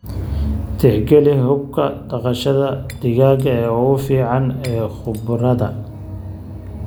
Tixgeli hababka dhaqashada digaaga ee ugu fiican ee khubarada.